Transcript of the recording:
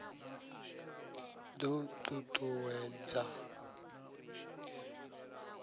d o t ut uwedza